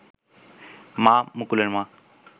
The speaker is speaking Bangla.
মা, মুকুলের মা